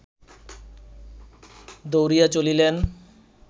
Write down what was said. দৌড়িয়া চলিলেন